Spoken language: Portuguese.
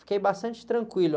Fiquei bastante tranquilo.